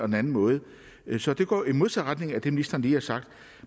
den anden måde så det går i modsat retning af det ministeren lige har sagt